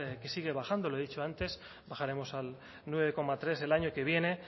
que sigue bajando lo he dicho antes bajaremos al nueve coma tres el año que viene